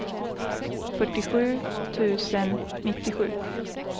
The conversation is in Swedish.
fyrtiosju tusen nittiosju